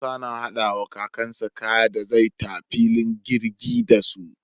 Musa na hada wa kakan su kaya da zai ta fillin girgi dasu